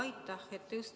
Aitäh!